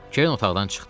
Kerin otaqdan çıxdı.